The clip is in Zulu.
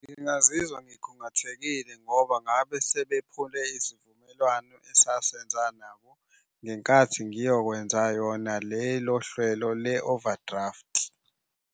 Ngingazizwa ngikhungathekile ngoba ngabe sebephumile isivumelwano esasenza nabo ngenkathi ngiyokwenza yona lelo hlwelo le-overdraft.